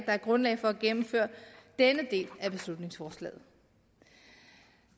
er grundlag for at gennemføre denne del af beslutningsforslaget